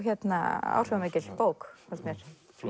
áhrifamikil bók fannst mér